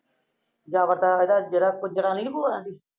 ਜਾਵ੍ਰਤਾ ਜੇਡਾ ਜੇਦਾਪੁਰ ਜਨਾਨੀ ਨੀ ਭੂਆ ਰੇਂਦੀ।